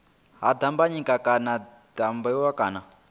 ha dimbanyika kana dyambeu kana